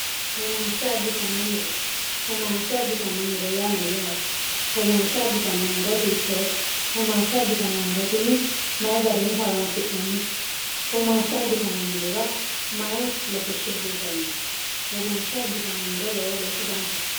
woomaashsha abbitnnomoro oomaashsha abbitannommoro yaa mayyaate woomaashsha abbitannommoro hiittoote omaashsha abbitanno morotini mayi garinni horansi'nannite oomaashsha abbitanommorora mayi latishshi hasiisanno woomaashsha abbitannommoro lowo geeshsha danchate